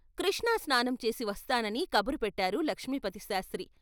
కృష్ణా స్నానం చేసి వస్తానని కబురుపెట్టారు లక్ష్మీపతిశాస్త్రి.